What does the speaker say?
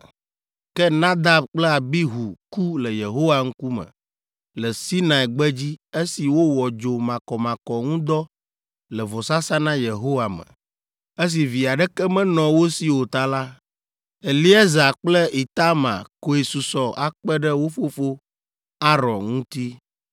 Ke Nadab kple Abihu ku le Yehowa ŋkume le Sinai gbedzi esi wowɔ dzo makɔmakɔ ŋu dɔ le vɔsasa na Yehowa me. Esi vi aɖeke menɔ wo si o ta la, Eleazar kple Itamar koe susɔ akpe ɖe wo fofo, Aron ŋuti.